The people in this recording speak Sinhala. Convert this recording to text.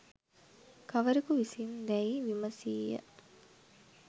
කවරෙකු විසින් දැයි විමසීය.